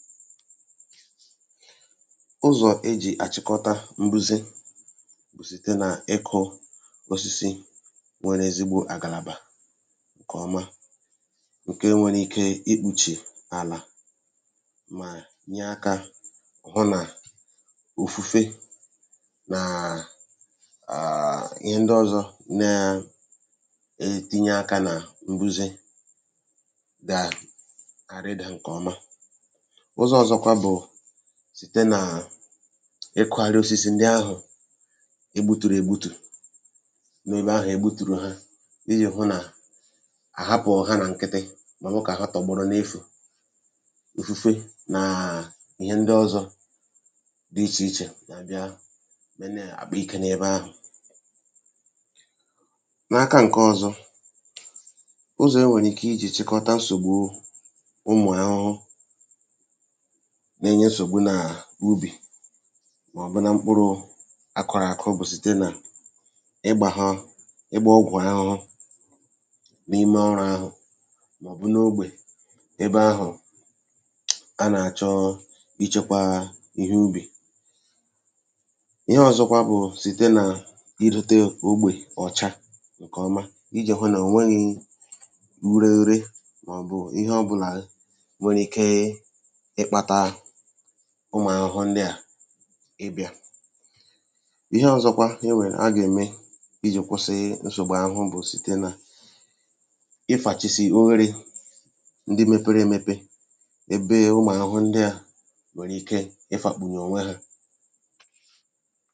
Ụzọ̀ ọ́tụ̀ iji chịkọ́ta mbùzè bụ́ site n’ịkụ́ osisi ndị nwere ezigbo àgàlàbà nke na-ekpùchì àlà ma na-echebe ya pụọ́ n’ifufe um na ihe ndị ọzọ nwere ike ịdòpụta mbùzè. Ụzọ̀ ọzọ̀ bụ́ site n’ịkụ́ àrịosisi ndị ahụ̀ e gbutùrù n’ebe ahụ̀ e gbutùrù ha ka e hapụ́ ha tọ̀gbọrọ n’efu. Nke a na-enyere aka igbochi ifufe na ihe ndị ọzọ̀ n’ime gburugburu ebe obibi nke nwere ike ịmè ka mbùzè bịara. Ụzọ̀ ọzọ iji chịkọ́ta nsògbu ụmụ́ ahụhụ n’úbì ma ọ bụ̀ n’akùrụ̀ àkụ́ bụ́ site n’ịgba ọ̀gwụ̀ ọ bụ̀ ịgba ọgwụ̀ ahụhụ n’akù ahụ̀ n’onwe ya um ma ọ bụ̀ n’ogbè ebe a chọrọ ichekwa ihe ubi. Ụzọ̀ ọzọ̀ bụ́ site n’ịrịté ogbè ahụ̀ ka ọ dị ọ́cha ka e hụ́ na enweghị ùré ma ọ bụ̀ ihe ọ̀bụ̀la nwere ike ịdòpụta ụmụ́ahụhụ. N’ikpeazụ ụzọ̀ ọzọ̀ iji kwụsị nsògbu ahụhụ bụ́ site n’ịfàchísì ma ọ bụ̀ imechi ebe mepere emepe nke ụmụ́ahụhụ nwere ike ịbà.